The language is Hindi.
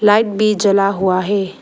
लाइट भी जला हुआ है।